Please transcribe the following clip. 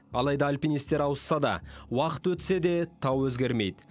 алайда альпинистер ауысса да уақыт өтсе де тау өзгермейді